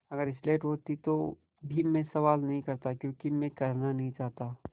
अगर स्लेट होती तो भी मैं सवाल नहीं करता क्योंकि मैं करना नहीं चाहता